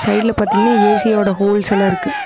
சைடுல பாத்தீங்கன்னா ஏ_சியோட ஹோல்ஸ் எல்லா இருக்கு.